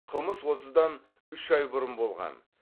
қылмыс осыдан үш ай бұрын болған